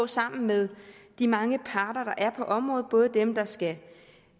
sammen med de mange parter der er på området både dem der skal